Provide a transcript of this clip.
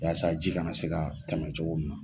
Walasa ji kana se ka tɛmɛ cogo min na.